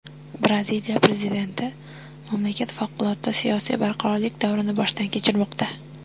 Braziliya prezidenti: mamlakat favqulodda siyosiy barqarorlik davrini boshdan kechirmoqda.